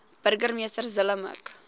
burgemeester zille mik